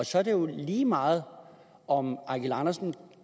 så er det jo lige meget om eigil andersen